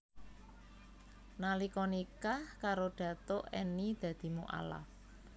Nalika nikah karo Datuk Enny dadi mualaf